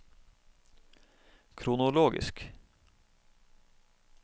kronologisk